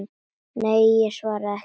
Nei, ég var ekki svöng.